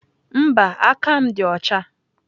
Mba, aka m dị ọcha.